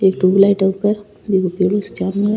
एक ट्यूबलाइट है ऊपर बिन्के चारो मेर।